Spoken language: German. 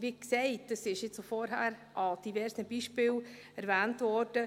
Wie gesagt, es ist vorhin in diversen Beispielen erwähnt worden: